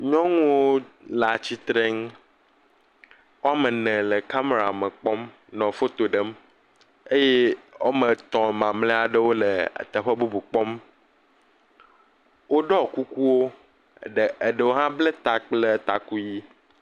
Nyɔnuwo le atsitrenu. Wo ame eve le kamerame kpɔm nɔ foto ɖem. Eye wo ame etɔ̃ mamlɛ aɖewo le teƒe bubu kpɔm. Woɖɔ kukuwo. Ɖe Eɖewo hã bla ta kple taku ʋi.